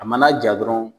A mana ja dɔrɔn